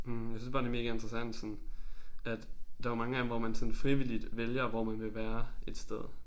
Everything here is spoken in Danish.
Hm jeg synes bare det mega interessant sådan at der jo mange gange hvor man sådan frivilligt vælger hvor man vil være et sted